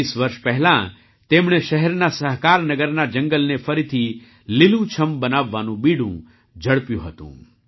વીસ વર્ષ પહેલાં તેમણે શહેરના સહકારનગરના જંગલને ફરીથી લીલુંછમ બનાવવાનું બીડું ઝડપ્યું હતું